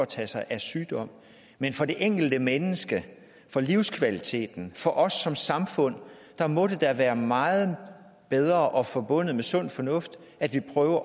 tager sig af sygdom men for det enkelte menneske for livskvaliteten for os som samfund må det da være meget bedre og forbundet med sund fornuft at vi prøver